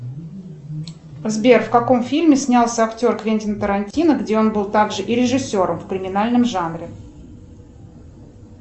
сбер в каком фильме снялся актер квентин тарантино где он был также и режиссером в криминальном жанре